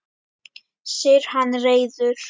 segir hann reiður.